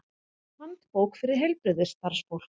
Handbók fyrir heilbrigðisstarfsfólk.